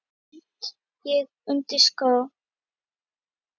bind ég undir skó